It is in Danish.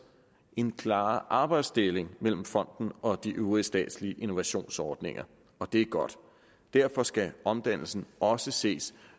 en klarere arbejdsdeling mellem fonden og de øvrige statslige innovationsordninger og det er godt derfor skal omdannelsen også ses